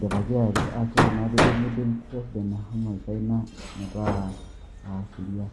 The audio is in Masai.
dipaki ayaki ore na pidipi neyakini president misaina metaa sheria.